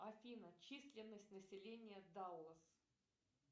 афина численность населения даллас